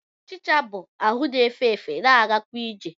Ọchịcha bụ ahụ na-efe efe, na-agakwa ije